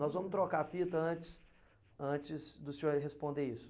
Nós vamos trocar a fita antes antes do senhor responder isso.